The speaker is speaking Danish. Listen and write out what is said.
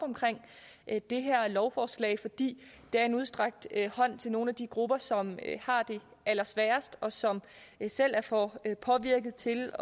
det her lovforslag fordi det er en udstrakt hånd til nogle af de grupper som har det allersværest og som selv er for påvirkede til